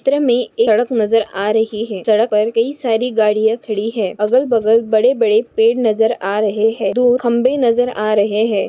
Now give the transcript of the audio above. चित्र मे सड़क नजर आ रही है सड़क पर कई सारी गाड़ियां खड़ी है अगल बगल बड़े बड़े पेड़ नजर आ रहे है दो खंबे नजर आ रहे है।